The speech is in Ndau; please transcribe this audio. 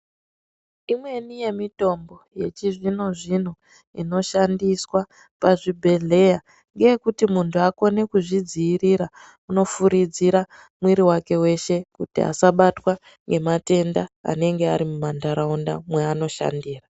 Imweni yemitombo yechizvino zvino inoshandiswa pazvibhedhleya ngeyekuti muntu akone kuzvidzivirira unofuridzira mwiri wake weshe kuti asabatwa ngematenda anenge arimumandaraunda aanoshandira.